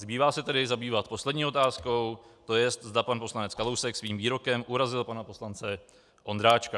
Zbývá se tedy zabývat poslední otázkou, to jest, za pan poslanec Kalousek svým výrokem urazil pana poslance Ondráčka.